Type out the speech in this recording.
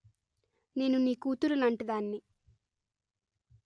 నేను నీ కూతురులాంటి దాన్ని